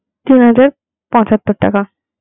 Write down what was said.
তিন হাজার পঁচাত্তর টাকা.